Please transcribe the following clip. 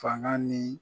Fanga ni